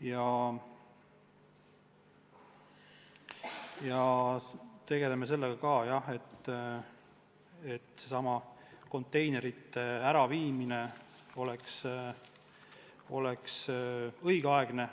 Ja me tegeleme ka sellega, et konteinerite äraviimine oleks õigeaegne